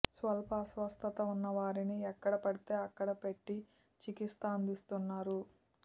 స్వల్ప అస్వస్థత ఉన్నవారిని ఎక్కడ పడితే అక్కడ పెట్టి చికిత్స అందిస్తున్నారు